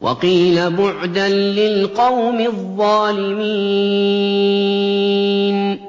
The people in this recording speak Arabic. وَقِيلَ بُعْدًا لِّلْقَوْمِ الظَّالِمِينَ